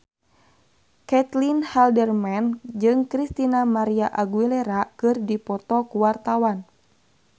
Caitlin Halderman jeung Christina María Aguilera keur dipoto ku wartawan